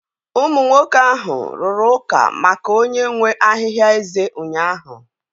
Ụmụ nwoke ahụ rụrụ ụka maka onye nwe ahịhịa eze ụnyahụ.